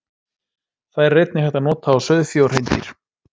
Þær er einnig hægt að nota á sauðfé og hreindýr.